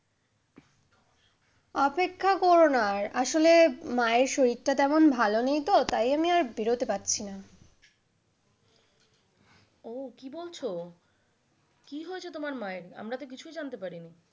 অপেক্ষা করো না আর আসলে মায়ের শরীর টা তেমন ভালো নেই তো তাই আমি আর বেরোতে পারছি না। ও কি বলছো কি হয়েছে তোমার মায়ের? আমারা তো কিছুই জানতে পারিনি।